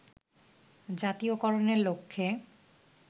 জাতীয়করণের লক্ষ্যে